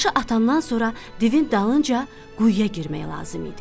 Daşı atandan sonra divin dalınca quyuya girmək lazım idi.